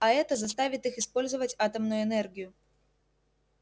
а это заставит их использовать атомную энергию